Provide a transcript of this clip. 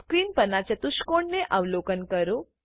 screen પરનાં ચતુષ્કોણને અવલોકન કરો